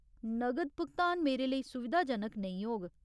नगद भुगतान मेरे लेई सुविधाजनक नेईं होग।